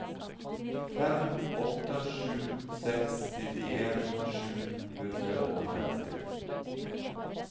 fem åtte sju seks nittien sju hundre og femti